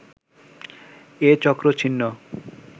এ চক্র ছিন্ন